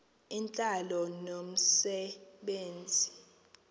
intlalo nomse benzi